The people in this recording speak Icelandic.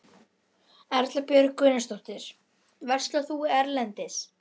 Hér hættir skrásetjari öllum einkahugleiðingum og aðalpersóna bókarinnar tekur við.